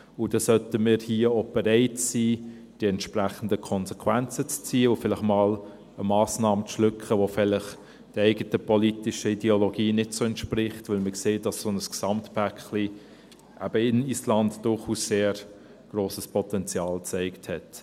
– Und dann sollten wir hier auch bereit sein, die entsprechenden Konsequenzen zu ziehen und vielleicht einmal eine Massnahme zu schlucken, die vielleicht der eigenen politischen Ideologie nicht so entspricht – weil wir sehen, dass so ein Gesamtpaket eben in Island durchaus sehr grosses Potenzial gezeigt hat.